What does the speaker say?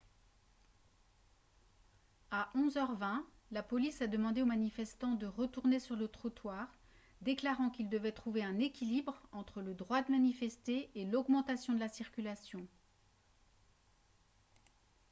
à 11 h 20 la police a demandé aux manifestants de retourner sur le trottoir déclarant qu'ils devaient trouver un équilibre entre le droit de manifester et l'augmentation de la circulation